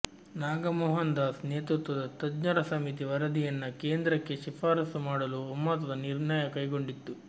ನಾಗಮೋಹನ್ ದಾಸ್ ನೇತೃತ್ವದ ತಜ್ಞರ ಸಮಿತಿ ವರದಿಯನ್ನ ಕೇಂದ್ರಕ್ಕೆ ಶಿಫಾರಸು ಮಾಡಲು ಒಮ್ಮತದ ನಿರ್ಣಯ ಕೈಗೊಂಡಿತ್ತು